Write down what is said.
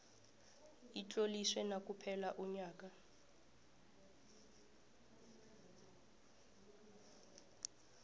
utloliswe nakuphela umnyanya